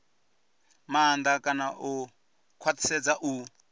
maanḓa kana u khwaṱhisedza u